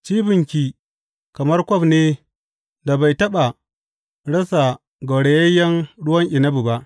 Cibinki kamar kwaf ne da bai taɓa rasa gaurayayyen ruwan inabi ba.